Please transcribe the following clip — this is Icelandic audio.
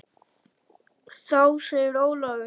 Þá segir Ólafur